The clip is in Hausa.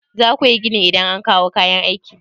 Za ku yi gini idan an kawo kayan aiki.